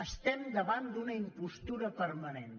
estem davant d’una impostura permanent